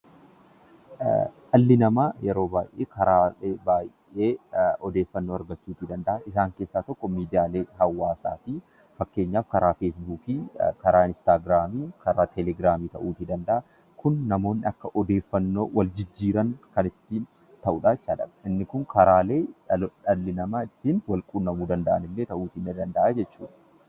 Dhalli namaa yeroo baay'ee karaalee baay'ee odeeffannoo argachuu danda'a. Isaan keessaa tokko miidiyaalee hawaasaati. Fakkeenyaaf karaa feesbookii, inistaagiraamii, telegraamii ta'uutii danda'a. Kun namoonni akka odeeffannoo wal jijjiiran kan itti dhimma bahanidha. Kun karaalee dhalli namaa walquunnaman ta'uullee ni danda'a.